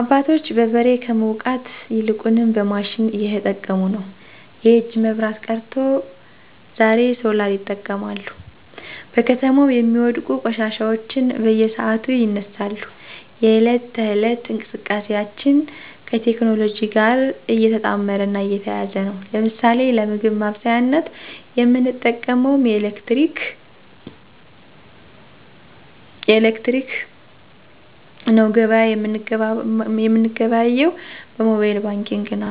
አባቶች በበሬ ከመዉቃት ይልቁንም በማሽን እየተጠቀሙነዉ። የእጅ መብራት ቀርቶ ዛሬሶላርይጠቀማሉ። በከተማው የሚወድቁ ቆሻሻዎች በየሰዓቱ ይነሳሉ፣ የህለት ተህለት እንቅስቃሴአችን ከቴክኖሎጅእ ጋር የተጣመረ እና የተያያዘ ነዉ። ለምሳሌ ለምግብ ማበሳሳያነት የምንጠቀመዉምኤሌክትረመክነዉ ገበያ የምንገበያየዉ በሞባየል ባንኪግ ነዉ።